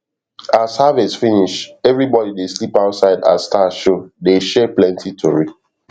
as harvest finish everybody dey sleep outside as star show dey share plenty tori